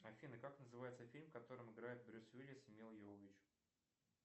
афина как называется фильм в котором играет брюс уиллис и мила йовович